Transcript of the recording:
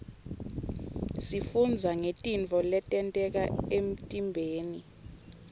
sifundza ngetintfo letenteka emtiimbeni